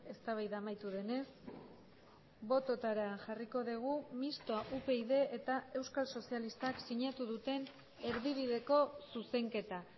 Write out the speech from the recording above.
eztabaida amaitu denez bototara jarriko dugu mistoa upyd eta euskal sozialistak sinatu duten erdibideko zuzenketa